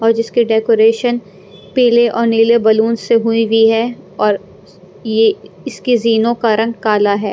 और जिसकी डेकोरेशन पीले और नीले बलून से हुई हुई है और ये इसकी जीनों का रंग काला है।